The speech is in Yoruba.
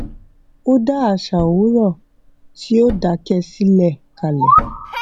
ó dá àṣà òwúrọ tí ó dakẹ silẹ kalẹ